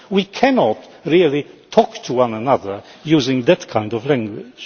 We cannot really talk to one another using that kind of language.